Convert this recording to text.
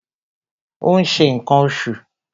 ó n se nkan osù